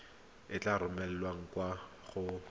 e tla romelwa kwa go